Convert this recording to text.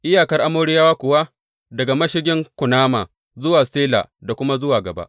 Iyakar Amoriyawa kuwa daga Mashigin Kunama zuwa Sela da kuma zuwa gaba.